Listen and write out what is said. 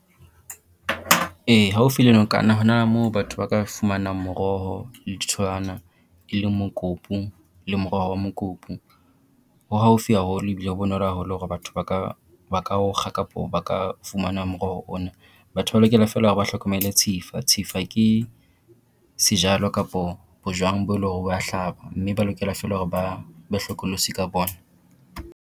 E haufi le nokana ho na le moo batho ba ka fumanang moroho le ditholwana, e leng mokopu le moroho wa mokopu. Ho haufi haholo ebile ho bonolo haholo hore batho ba ka ba ka o kga kapo ba ka fumana moroho ona. Batho ba lokela fela hore ba hlokomele tshifa, tshifa ke sejalo kapo bojwang bo eleng hore bo wa hlaba mme ba lokela feela hore ba be hlokolosi ka bona.